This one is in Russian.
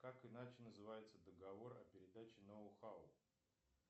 как иначе называется договор о передаче ноу хау